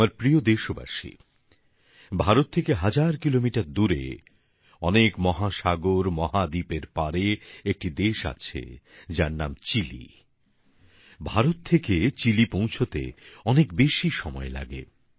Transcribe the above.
আমার প্রিয় দেশবাসী ভারত থেকে হাজার কিলোমিটার দূরে অনেক মহাসাগরের পারে একটি দেশ আছে যার নাম চিলি ভারত থেকে চিলি পৌঁছতে অনেক বেশি সময় লাগে